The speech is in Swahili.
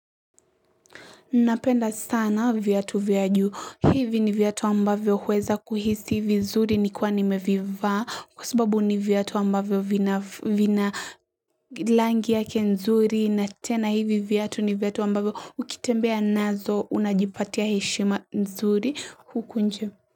Napenda sana viatu vya juu, hivi ni viatu ambavyo huweza kuhisi vizuri nikiwa nimevivaa kwa sababu ni viatu ambavyo vina langi yake nzuri na tena hivi viatu ni viatu ambavyo ukitembea nazo unajipatia heshima nzuri huku nje.